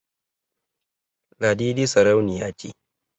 Ladidi sarauniya ce